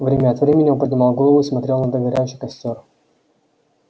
время от времени он поднимал голову и смотрел на догорающий костёр